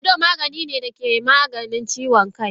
Fanado maganine dake Maganin ciwon kai.